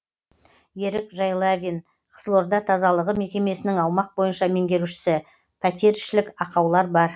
ерік жайлавин қызылорда тазалағы мекемесінің аумақ бойынша меңгерушісі пәтерішілік ақаулар бар